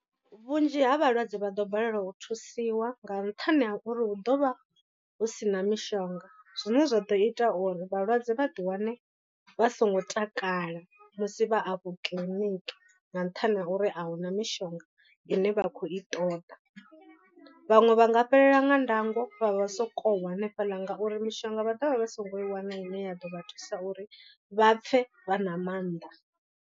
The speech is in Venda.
Vhunzhi ha vhalwadze vha ḓo balelwa u thusiwa nga nṱhani ha uri hu ḓo vha hu si na mishonga zwine zwa ḓo ita uri vhalwadze vha ḓi wane vha songo takala musi vha afho kiḽiniki nga nṱhani ha uri ahuna mishonga ine vha khou i ṱoḓa. Vhaṅwe vha nga fhelelwa nga ndango vha vha so ko u wa hanefhaḽa ngauri mishonga vha dovha vha songo i wana ine ya ḓo vha thusa uri vha pfhe vha na mannḓa.